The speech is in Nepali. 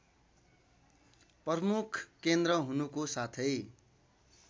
प्रमुख केन्द्र हुनुको साथै